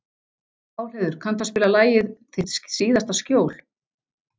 Pálheiður, kanntu að spila lagið „Þitt síðasta skjól“?